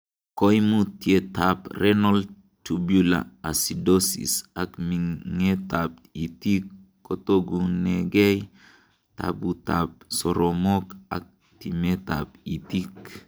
Koimutietab Renal tubular acidosis ak ming'etab itik kotokunengei tabutab soromok ak timetab itik.